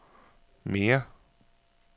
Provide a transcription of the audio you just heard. mere